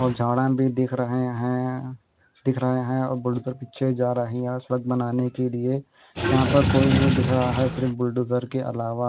और जॉर्डन भी दिख रहे है दिख रहे है और बुलडोज़र पीछे जा रही है सुड़क बनाना के लिए यहाँ पे कोई नहीं दिख रहा है सिर्फ बुलडोज़र के अलावा।